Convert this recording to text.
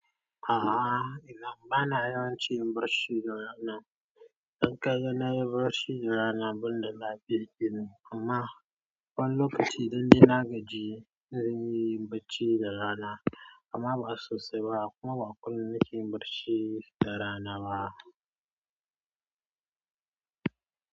A'a ina bana yawancin in barci da rana. Idan ka gan na yi barci da rana ban da lafiya kenan ama wani lokaci idan ni na gaji zanyi barci da rana amma ba sosai ba kuma ba kullum nake yin barci da rana ba.